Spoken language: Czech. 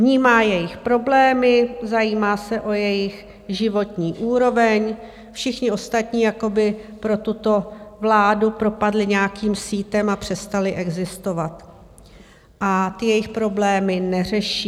Vnímá jejich problémy, zajímá se o jejich životní úroveň, všichni ostatní jako by pro tuto vládu propadli nějakým sítem a přestali existovat a ty jejich problémy neřeší.